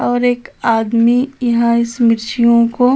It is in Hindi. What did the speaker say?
और एक आदमी इहा इस मिर्चियों को --